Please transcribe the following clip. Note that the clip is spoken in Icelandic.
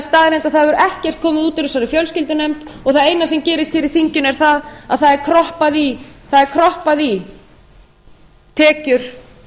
staðreynd að það hefur ekkert komið út úr þessari fjölskyldunefnd og það eina sem gerist hér í þinginu er að það er kroppað í tekjur